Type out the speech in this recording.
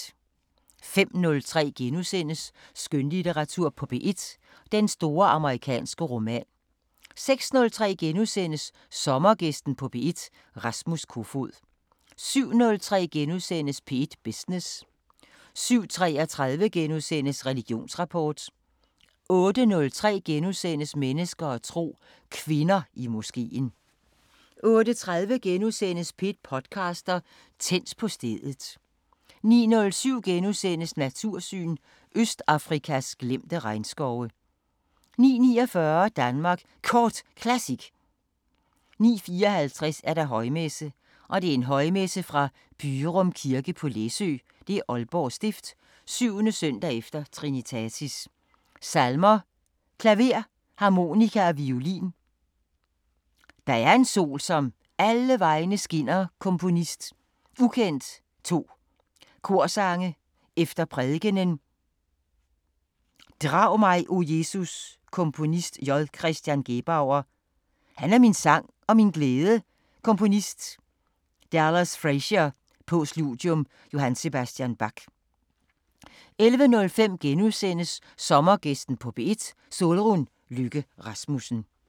05:03: Skønlitteratur på P1: Den store amerikanske roman * 06:03: Sommergæsten på P1: Rasmus Kofoed * 07:03: P1 Business * 07:33: Religionsrapport * 08:03: Mennesker og tro: Kvinder i moskeen * 08:30: P1 podcaster – Tændt på stedet * 09:07: Natursyn: Østafrikas glemte regnskove * 09:49: Danmark Kort Classic 09:54: Højmesse - Højmesse fra Byrum Kirke, Læsø, Aalborg Stift, 7.s. e. Trinitatis Salmer: klaver, harmonika og violin Der er en sol, som alle vegne skinner Komponist: ukendt 2 Korsange efter prædikenen Drag mig, O Jesus Komponist: J. Chr. Gebauer Han er min sang og min glæde Komponist: Dallas Frazier Postludium: J. S. Bach 11:05: Sommergæsten på P1: Solrun Løkke Rasmussen *